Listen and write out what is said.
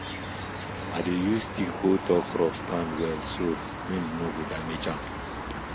i dey use stick hold tall crop stand well so wind no go damage am